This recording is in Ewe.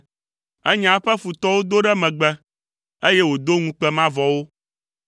Enya eƒe futɔwo do ɖe megbe, eye wòdo ŋukpe mavɔ wo.